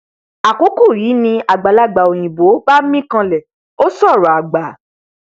àkókò yìí ni àgbàlagbà òyìnbó bá mín kànlẹ ó sọrọ àgbà